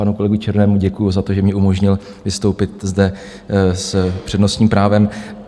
Panu kolegovi Černému děkuji za to, že mi umožnil vystoupit zde s přednostním právem.